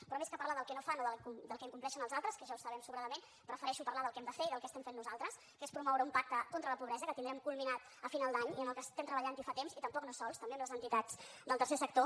però més que parlar del que no fan o del que incompleixen els altres que ja ho sabem sobradament prefereixo parlar del que hem de fer i del que estem fent nosaltres que és promoure un pacte contra la pobresa que tindrem culminat a final d’any i en què estem treballant fa temps i tampoc no sols també amb les entitats del tercer sector